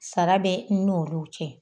Sara bɛ n'olu cɛ